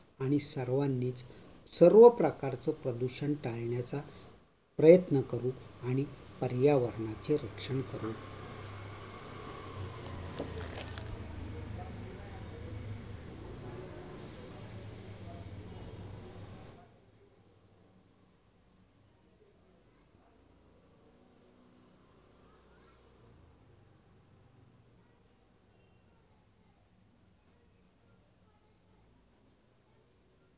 आणि सर्वांनीच सर्वप्रकारच प्रदूषण टाळण्याचा प्रयत्न करू आणि पर्यावरणाचे रक्षण करू